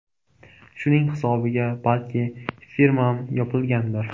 Shuning hisobiga balki firmam yopilgandir”.